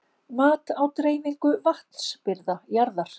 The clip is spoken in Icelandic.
Mat á dreifingu vatnsbirgða jarðar.